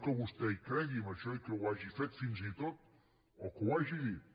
que vostè hi cregui en això i que ho hagi fet fins i tot o que ho hagi dit